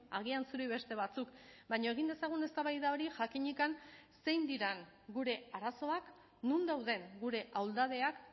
agian zuri beste batzuk baina egin dezagun eztabaida hori jakinik zein diren gure arazoak non dauden gure ahuldadeak